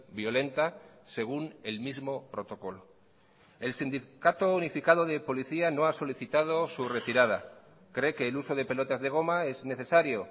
violenta según el mismo protocolo el sindicato unificado de policía no ha solicitado su retirada cree que el uso de pelotas de goma es necesario